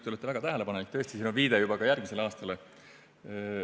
Te olete väga tähelepanelik, tõesti on siin viide juba ka järgmisele aastale.